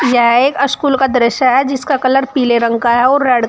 यह एक स्कूल का दृश्य है जिसका कलर पीले रंग का है और रेड --